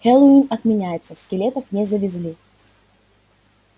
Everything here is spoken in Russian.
хэллоуин отменяется скелетов не завезли